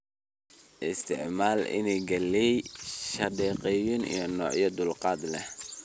Isticmaal iniin galley shahaadeysan iyo noocyo dulqaad leh."